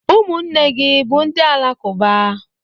Umunne gi bu ndi Alakụba?